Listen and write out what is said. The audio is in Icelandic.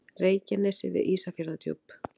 Reykjanesi við Ísafjarðardjúp.